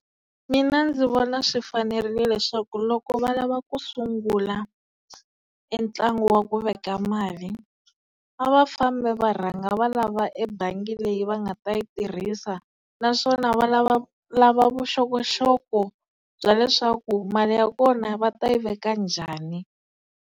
Mina ndzi vona swi fanerile leswaku loko va lava ku sungula e ntlangu wa ku veka mali a va fambi va rhanga va lava ebangi leyi va nga ta yi tirhisa naswona va lavalava vuxokoxoko bya leswaku mali ya kona va ta yi veka njhani.